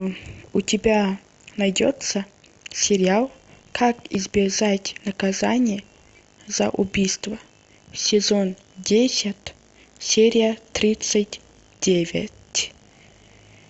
у тебя найдется сериал как избежать наказания за убийство сезон десять серия тридцать девять